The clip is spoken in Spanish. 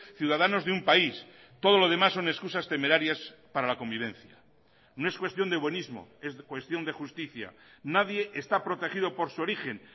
ciudadanos de un país todo lo demás son excusas temerarias para la convivencia no es cuestión de buenismo es cuestión de justicia nadie está protegido por su origen